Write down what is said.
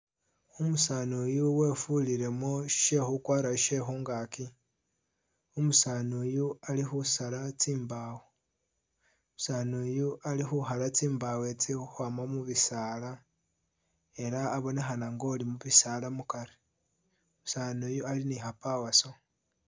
Umusaani uyu wefulilemo shekhukwara shekhungaki, umusaani uyu ali khusala tsimbawo, umusaani uyu ali khukhala tsimbawo tsi ukhwama mubisaala ela abonekhana nga'oli mubisaala mukari , umusaani uyu ali ni kha'power saw